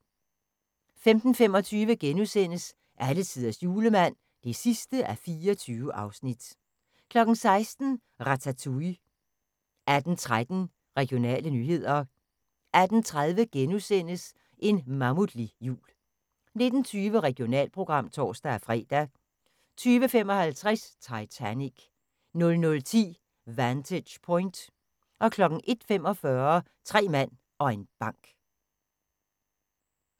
15:25: Alletiders Julemand (24:24)* 16:00: Ratatouille 18:13: Regionale nyheder 18:30: En mammutlig jul * 19:20: Regionalprogram (tor-fre) 20:55: Titanic 00:10: Vantage Point 01:45: Tre mand og en bank